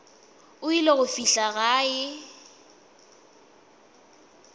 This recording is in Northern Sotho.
o ile go fihla gae